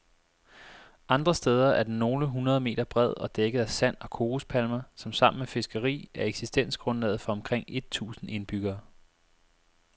Andre steder er den nogle hundrede meter bred og dækket af sand og kokospalmer, som sammen med fiskeri er eksistensgrundlaget for omkring et tusind indbyggere.